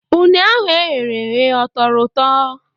Une ahụ eghereghe ọ tọrọ ụtọ?